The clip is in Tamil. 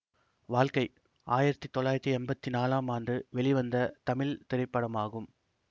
வாழ்க்கை ஆயிரத்தி தொள்ளாயிரத்தி எம்பத்தி நாலாம் ஆண்டு வெளிவந்த தமிழ் திரைப்படமாகும்